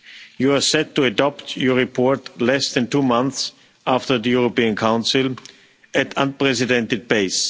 You are set to adopt your report less than two months after the European Council at unprecedented pace.